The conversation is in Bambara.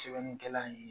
Sɛbɛnnikɛla ye